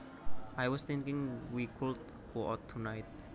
I was thinking we could go out tonight